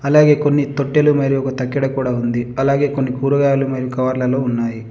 అలాగే కొన్ని తొట్టెలు మరియు ఒక తక్కెడ కూడా ఉంది. అలాగే కొన్ని కూరగాయలు మరియు కవర్లలో ఉన్నాయి.